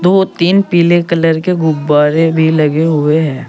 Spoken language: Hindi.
दो तीन पीले कलर के गुब्बारे भी लगे हुए हैं।